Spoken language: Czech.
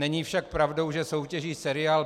Není však pravdou, že soutěží seriál